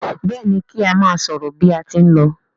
Béèni ki a má sòrò bí a tí n ló.